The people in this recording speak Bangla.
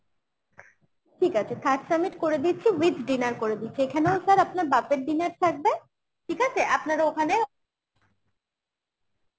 ঠিক আছে third summit করে দিচ্ছি with dinner করে দিচ্ছি এখানেও sir আপনার buffet dinner থাকবে ঠিক আছে আপনারা ওখানে